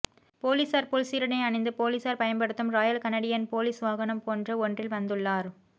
போலீஸார் போல் சீருடை அணிந்து போலீஸார் பயன்படுத்தும் ராயல் கனடியன் போலீஸ் வாகனம் போன்ற ஒன்றில் வந்துள்ளார்